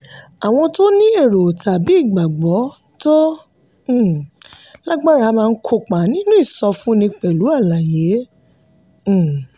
àwọn tó ní èrò tàbí ìgbàgbọ́ tó um lágbára máa kópa nínú ìsọfúnni pẹ̀lú àlàyé. um